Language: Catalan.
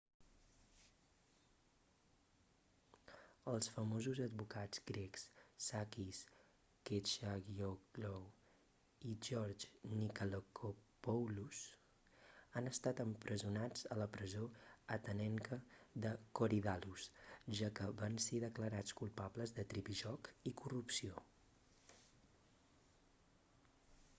els famosos advocats grecs sakis kechagioglou i george nikolakopoulos han estat empresonats a la presó atenenca de korydallus ja que van ser declarats culpables de tripijoc i corrupció